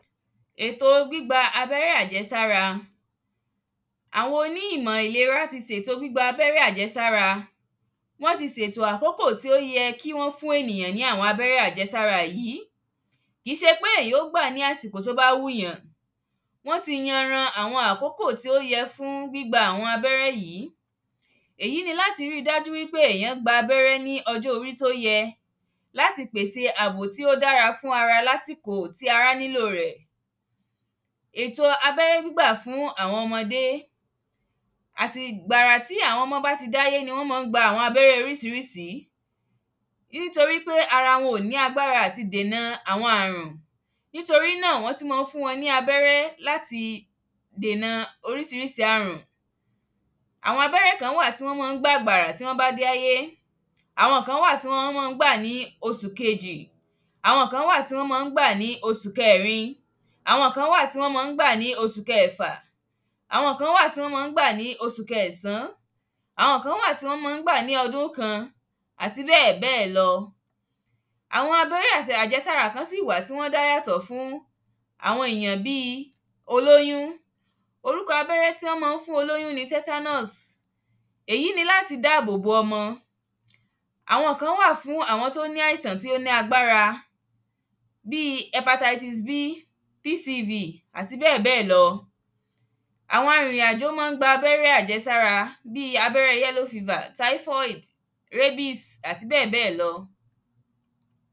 Èto gbígba abẹ́rẹ́ àjẹsára. Àwọn oní ìmọ̀ ìlera ti sèto gbígba abẹ́rẹ́ àjẹsára. Wọ́n ti sètò àkókò tí ó yẹ kí wọ́n fún ènìyàn ní àwọn abẹ́rẹ́ àjẹsára yí. Kí se pé èyàn ó gbà ní àsìkò tó bá wùyàn. WÓn ti yan ran àwọn tó yẹ fún gbígba àwọn abẹ́rẹ́ yí. Èyí ni láti ri dájú wípé èyàn gba abẹ́rẹ́ ní ọjọ́ orí tó yẹ. Láti pèsè àbò tí ó dára fún ara lásìkò tí ará nílò rẹ̀. Èto abẹ́rẹ́ gbígbà fún àwọn ọmọdé. Ati gbàrà tí àwọn ọmọ́ bá ti dáyé ni wọ́n mán ń gba àwọn abẹ́rẹ́ orísírísí. Nítorí pé ara wọn ò ní agbára láti dèna àwọn àrùn. Nítorí náà wọ́n tí mán fún wọn ní abẹ́rẹ́ láti dèna orísirísí àrùn. Àwọn abẹ́rẹ́ kan wà tí wọ́n má ń gbà gbàrà tí wọ́n bá dé áyé. Àwọn kán wà tí wọ́n má ń gbà ní osù kejì. Àwọn kán wà tí wọ́n má ń gbà ní osù kẹẹ̀rin Àwọn kán wà tí wọ́n má ń gbà ní osù kẹẹ̀fà. Àwọn kán wà tí wọ́n má ń gbà ní osù kẹẹ̀sán. Àwọn kán wà tí wọ́n má ń gbà ní ọdún kan. Àti bẹ́ẹ̀bẹ́ẹ̀ lọ. Àwọn abẹ́rẹ́ àjẹsára kán sì wà tí wọ́n dá yàtọ̀ fún àwọn èyàn bíi aláboyún. Orúkọ àbẹ́rẹ́ tí wọ́n mán fún olóyún ni tetans. Èyí ni láti dábò bo ọmọ. Àwọn kán wà fún àwọn tó ní àìsàn tó ní agbára. Bíi hepatisis B, PCV, àti bẹ́ẹ̀ bẹ́ẹ̀ lọ. Àwọn arìnrìn-àjò má ń gba abẹ́rẹm àjẹsára. Bíi abẹ́rẹ́ yellow fever, typhoid, rabbis àti bẹ́ẹ̀ bẹ́ẹ̀ lọ.